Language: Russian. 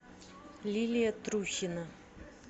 лилия трухина